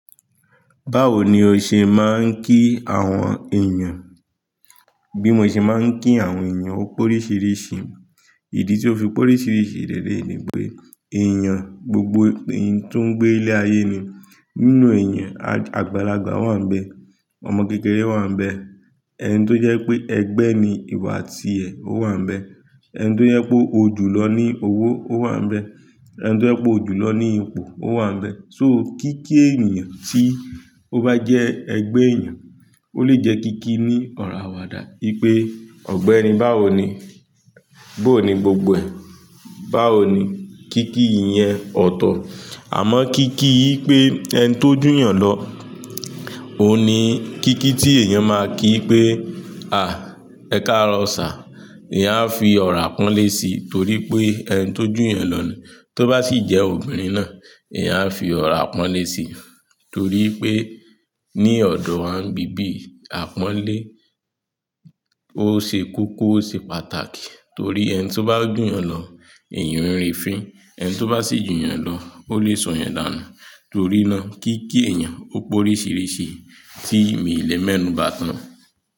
Báwo ni o ṣe máa ń kí àwọn èèyàn? Bí mo ṣe máa ń kí àwọn èèyàn ó pórìṣìrìṣi. Ìdí tí ó fi pórìṣìrìṣi leleyi ni pé èèyàn, gbogbo ẹni tó ń gbé ilé ayé ni. Nínú èèyàn àgbàlagbà wà níbẹ̀, ọmọ kékeré wà níbẹ̀, ẹni tó jẹ́ pé ẹgbẹ́ ni ìwo àtiẹ̀ ó wà n'bẹ̀, ẹni tó jẹ́ pé ó jù lọ ní owó ó wà n'bẹ̀, ẹni tó jẹ́ pé ó jù lọ ní ipò ó wà n'bẹ̀. So kí kí èèyàn tí ó bá jẹ́ ẹgbẹ́ èèyàn, ó lè jẹ́ kí kí ní ọ̀rọ̀ àwàdà wípé "ọ̀gbẹ́ni báwo ni? Bó ni gbogbo ẹ̀? Báwo ni?" Kí kí yẹn ọ̀tọ̀. Àmọ́ kí kí pé ẹni tó jù èèyàn lọ, òun ni kí kí tí èèyàn máa kí pé "à ẹ káarọ sir, eyán á fi ọ̀rọ̀ àpọ́nlé sí" torí pé ẹni tó jù èèyàn lọ ni. Tó bá sì jẹ́ obìnrin náà, eyán a fi ọ̀rọ̀ àpọ́nlé sí torí pé ní ọ̀dọ̀ wà ń bí bí àpọ́nlé. Ó ṣe kókó, ó ṣe pàtàkì torí ẹni tó bá jù èèyàn lọ, èèyàn ń rí fín. Ẹni tó bá sì jù èèyàn lọ, ó lè sọ̀yàn dànù torí náà kí kí èèyàn ó pórìṣìrìṣi tí mí lè mẹ́nú bá tán.